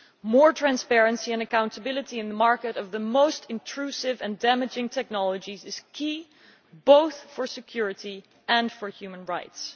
More transparency and accountability in the market of the most intrusive and damaging technologies is key, both for security and for human rights.